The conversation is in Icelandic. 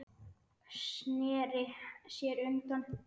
Sneri sér undan.